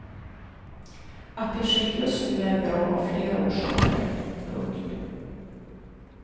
Att det sker just nu är bra av flera orsaker. punkt